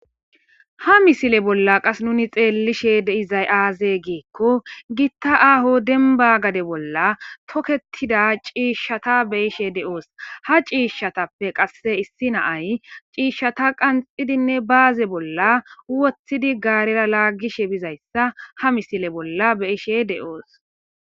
Ha misile bola nuni xeelishe deiza mishsheyi aze gikko gita aaho demiba demiba gade bola tokketida shishdhata betishe deosi ha ciishshatappe qase issi naayi ciishshata qqanththidinne baze bola wothidi gare lagishe diza ha misile bola betishe deosi